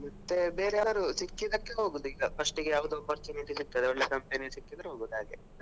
ಮತ್ತೆ ಬೇರೆ ಯಾವುದು ಸಿಕ್ಕಿದ್ದಕ್ಕೆ ಹೋಗುದು ಈಗ first ಯಾವುದು opportunity ಸಿಕ್ತದೆ ಒಳ್ಳೆ company ಸಿಕ್ಕಿದ್ರೆ ಹೋಗುದು ಹಾಗೆ.